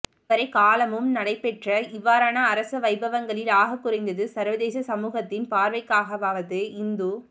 இதுவரை காலமும் நடைபெற்ற இவ்வாறான அரச வைபவங்களில் ஆகக்குறைந்தது சர்வதேச சமூகத்தின் பார்வைக்காகவாவது இந்து